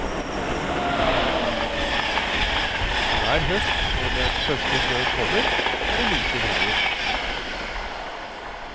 Hver høst når den første snøen kommer, er det like travelt.